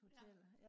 ja